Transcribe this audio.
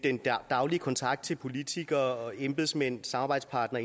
daglige kontakt til politikere embedsmænd samarbejdspartnere